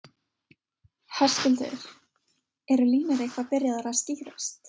Höskuldur, eru línur eitthvað byrjaðar að skýrast?